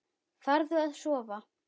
Farðu að sofa.